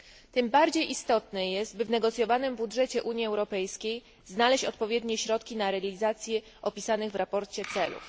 Tym bardziej istotne jest, by w negocjowanym budżecie Unii Europejskiej znaleźć odpowiednie środki na realizację opisanych w sprawozdaniu celów.